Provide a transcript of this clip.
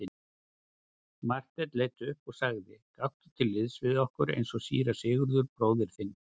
Marteinn leit upp og sagði:-Gakktu til liðs við okkur eins og síra Sigurður bróðir þinn.